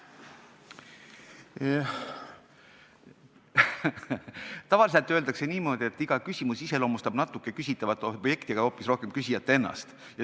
Tavaliselt öeldakse niimoodi, et iga küsimus iseloomustab natuke küsitavat objekti, aga hoopis rohkem küsijat ennast.